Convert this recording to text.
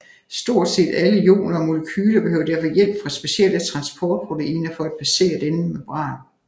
Stort set alle ioner og molekyler behøver derfor hjælp fra specielle transportproteiner for at passere denne membran